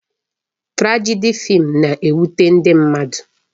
Trajedị fịịm na-ewute ndị mmadụ